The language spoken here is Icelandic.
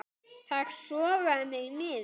Það sogaði mig niður.